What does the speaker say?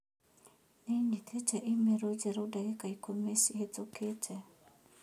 Nĩ nyĩtĩte i-mīrū njerũ ndagĩka ikũmi cihĩtũkĩte.